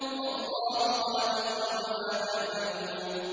وَاللَّهُ خَلَقَكُمْ وَمَا تَعْمَلُونَ